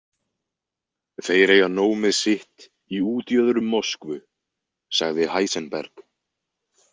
Þeir eiga nóg með sitt í útjöðrum Moskvu, sagði Heisenberg.